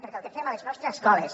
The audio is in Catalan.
perquè el que fem a les nostres escoles